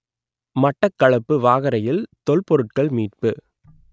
மட்டக்களப்பு வாகரையில் தொல்பொருட்கள் மீட்பு